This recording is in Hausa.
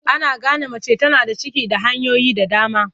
Ana gane mace tana da ciki da hanyoyi da dama.